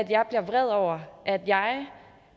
jeg bliver vred over at jeg